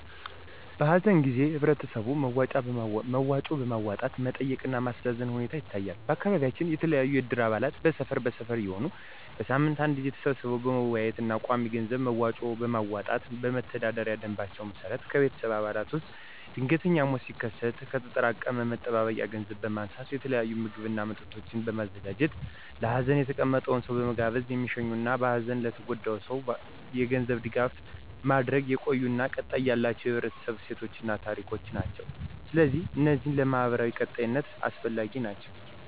በሀዘን ጊዜ ህበረተሰቡ መዋጮ በማዋጣት መጠየቅ እና ማስተዛዘን ሁኔታ ይታያል። በአካባቢያችን የተለያዩ የእድር አባላት በሰፈር በሰፈር እየሆኑ በሳምንት አንዴ ተሰባስበው በመወያየት እና ቋሚ የገንዘብ መዋጮ በማዋጣት በመተዳደሪያ ደምባቸው መሰረት ከቤተሰብ አባላት ውስጥ ድንገተኛ ሞት ሲከሰት ከተጠራቀመ መጠባበቂያ ገንዘብ በማንሳት የተለያየ ምግብ እና መጠጦች በማዘጋጀት ለሀዘን የተቀመጠውን ሰው በመጋበዝ የሚሸኙበት እና በሀዘን ለተጎዳው ሰው የገንዘብ ድጋፍ ማድረግ የቆዩ እና ቀጣይነት ያላቸው የህብረተሰቡ እሴቶችን እና ታሪኮችን ናቸው። ስለዚህ እነዚህ ለማህበራዊ ቀጣይነት አስፈላጊ ናቸው።